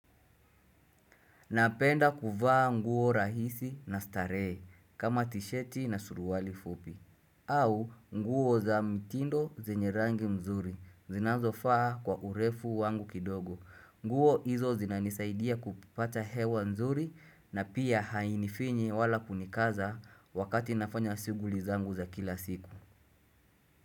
Napenda kuvaa nguo rahisi na starehe kama tisheti na suruali fupi au nguo za mtindo zenye rangi mzuri zinazofaa kwa hurefu wangu kidogo nguo izo zinanisaidia kupata hewa nzuri na pia hainifinyi wala kunikaza wakati nafanya siuguli zangu za kila siku.